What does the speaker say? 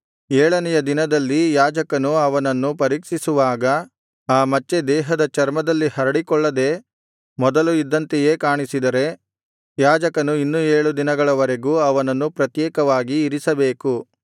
ಏಳನೆಯ ದಿನದಲ್ಲಿ ಯಾಜಕನು ಅವನನ್ನು ಪರೀಕ್ಷಿಸುವಾಗ ಆ ಮಚ್ಚೆ ದೇಹದ ಚರ್ಮದಲ್ಲಿ ಹರಡಿಕೊಳ್ಳದೆ ಮೊದಲು ಇದ್ದಂತೆಯೇ ಕಾಣಿಸಿದರೆ ಯಾಜಕನು ಇನ್ನು ಏಳು ದಿನಗಳ ವರೆಗೂ ಅವನನ್ನು ಪ್ರತ್ಯೇಕವಾಗಿ ಇರಿಸಬೇಕು